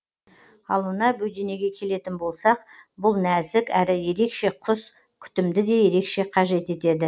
ал мына бөденеге келетін болсақ бұл нәзік әрі ерекше құс күтімді де ерекше қажет етеді